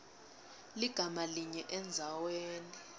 ligama linye endzaweni